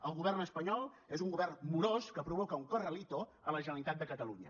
el govern espanyol és un govern morós que provoca un corralito a la generalitat de catalunya